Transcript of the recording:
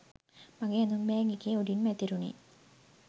මගේ ඇඳුම් බෑග් එකේ උඩින්ම ඇතිරුණේ